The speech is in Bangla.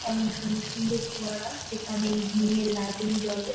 এমন সুন্দর সুন্দর ফোয়ারা যেখানে ইভিনিং -এ লাইটিং জ্বলে